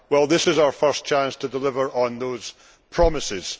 This is our first chance to deliver on those promises.